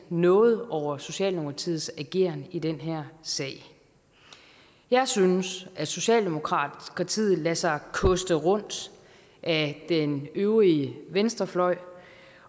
noget over socialdemokratiets ageren i den her sag jeg synes socialdemokratiet lader sig koste rundt af den øvrige venstrefløj